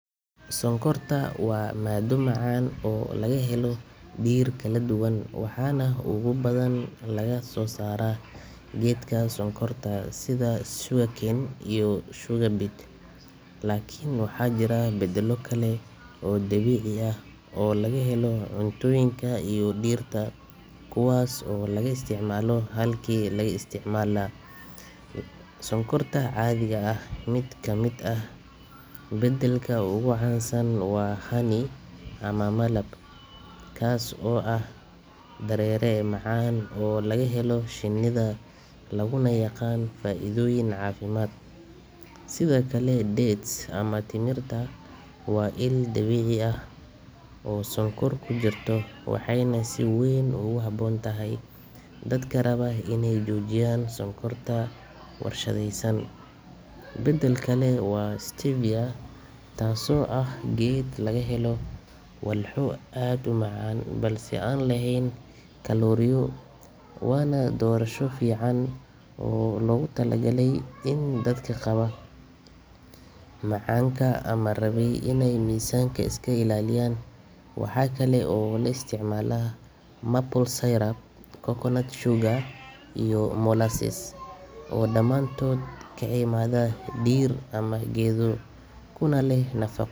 Sonkorta waa maaddo macaan oo laga helo dhir kala duwan, waxaana ugu badan laga soosaaray geedka sonkorta sida sugarcane iyo sugar beet. Laakiin waxaa jira beddelo kale oo dabiici ah oo laga helo cuntooyinka iyo dhirta kuwaas oo laga isticmaalo halkii laga isticmaali lahaa sonkorta caadiga ah. Mid ka mid ah beddelka ugu caansan waa honey ama malab, kaas oo ah dareere macaan oo laga helo shinnida, laguna yaqaan faa’iidooyin caafimaad. Sidoo kale dates ama timirta waa il dabiici ah oo sonkor ku jirto, waxayna si weyn ugu habboon tahay dadka raba inay joojiyaan sonkorta warshadaysan. Beddel kale waa stevia, taasoo ah geed laga helo walxo aad u macaan balse aan lahayn kalooriyo, waana doorasho fiican oo loogu talagalay dadka qaba macaanka ama raba inay miisaanka iska ilaaliyaan. Waxa kale oo la isticmaalaa maple syrup, coconut sugar iyo molasses oo dhammaantood ka yimaada dhir ama geedo, kuna leh nafaqo.